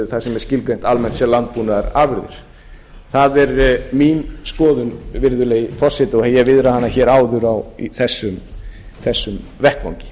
það sem er skilgreint almennt sem landbúnaðarafurðir það er skoðun mín virðulegi forseti og ég viðraði hana áður á þessum vettvangi